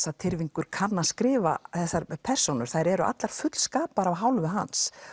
að Tyrfingur kann að skrifa þessar persónur þær eru allar fullskapaðar af hálfu hans